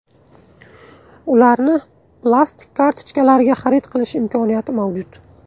Ularni plastik kartochkalarga xarid qilish imkoniyati mavjud.